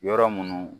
Yɔrɔ minnu